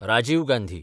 Rajiv Gandhi